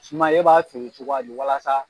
Suman e b'a feere cogoya di ? walasa.